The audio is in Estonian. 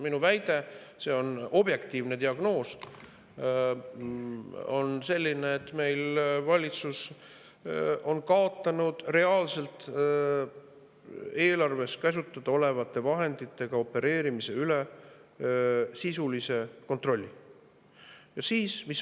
Minu väide – see on objektiivne diagnoos – on selline, et meil on valitsus kaotanud reaalselt eelarves käsutada olevate vahenditega opereerimise üle sisulise kontrolli.